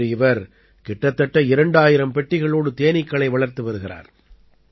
இன்று இவர் கிட்டத்தட்ட 2000 பெட்டிகளோடு தேனீக்களை வளர்த்து வருகிறார்